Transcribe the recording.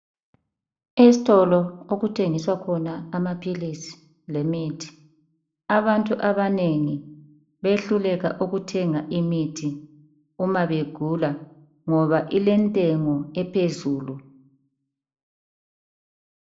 Esitolo okuthengiswa khona imithi lamaphilisi. Abantu abanengi behluleka ukuthenga imithi nxa begula ngoba ilentengo ephezulu.